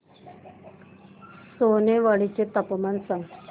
सोनेवाडी चे तापमान सांग